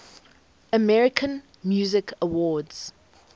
american music awards